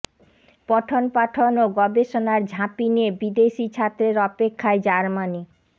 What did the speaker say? পঠনপাঠন ও গবেষণার ঝাঁপি নিয়ে বিদেশি ছাত্রের অপেক্ষায় জার্মানি